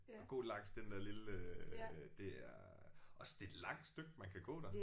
At gå langs den lille det er også det er et langt stykke man kan gå der